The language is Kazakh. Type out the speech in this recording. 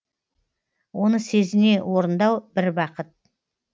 оны сезіне орындау бір бақыт